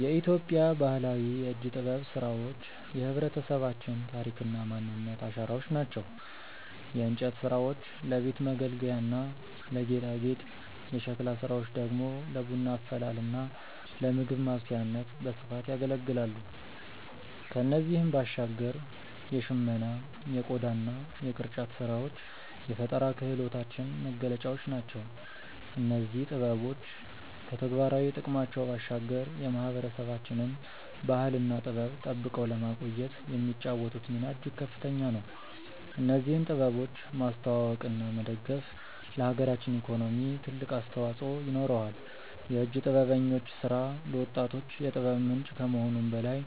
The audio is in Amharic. የኢትዮጵያ ባህላዊ የእጅ ጥበብ ስራዎች የህብረተሰባችን ታሪክና ማንነት አሻራዎች ናቸው። የእንጨት ስራዎች ለቤት መገልገያና ለጌጣጌጥ፣ የሸክላ ስራዎች ደግሞ ለቡና አፈላልና ለምግብ ማብሰያነት በስፋት ያገለግላሉ። ከእነዚህም ባሻገር የሽመና የቆዳና የቅርጫት ስራዎች የፈጠራ ክህሎታችን መገለጫዎች ናቸው። እነዚህ ጥበቦች ከተግባራዊ ጥቅማቸው ባሻገር የማህበረሰባችንን ባህልና ጥበብ ጠብቀው ለማቆየት የሚጫወቱት ሚና እጅግ ከፍተኛ ነው። እነዚህን ጥበቦች ማስተዋወቅና መደገፍ ለሀገራችን ኢኮኖሚ ትልቅ አስተዋጽኦ ይኖረዋል። የእጅ ጥበበኞች ስራ ለወጣቶች የጥበብ ምንጭ ከመሆኑም በላይ